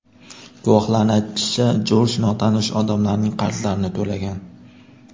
Guvohlarning aytishicha, Jorj notanish odamlarning qarzlarini to‘lagan.